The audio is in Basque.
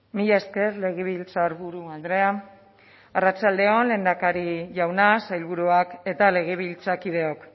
mila esker legebiltzarburu andrea arratsalde on lehendakari jauna sailburuak eta legebiltzarkideok